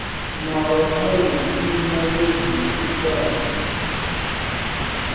na vhaphalestina yo ḓi tikaho